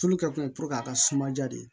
Tulu kɛ kun ye a ka suma ja de